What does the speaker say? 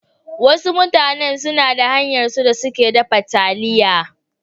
Wasu mutanen suna da hanyarsu da suke dafa taliya.